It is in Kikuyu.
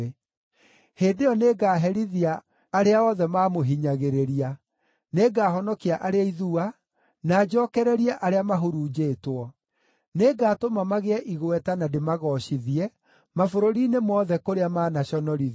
Hĩndĩ ĩyo nĩngaherithia arĩa othe maamũhinyagĩrĩria; nĩngahonokia arĩa ithua, na njookererie arĩa mahurunjĩtwo. Nĩngatũma magĩe igweta na ndĩmagoocithie mabũrũri-inĩ mothe kũrĩa manaconorithio.